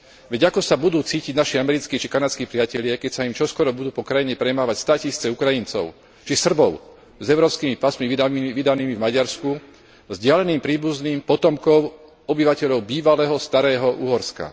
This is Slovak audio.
Veď ako sa budú cítiť naši americkí či kanadskí priatelia, keď sa im čoskoro budú po krajine premávať státisíce Ukrajincov či Srbov s európskymi pasmi vydanými v Maďarsku vzdialeným príbuzným, potomkom obyvateľov bývalého starého Uhorska.